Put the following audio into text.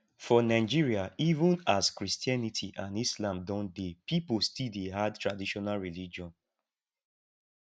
for nigeria even as christianity and islam don dey pipo still dey add traditional religion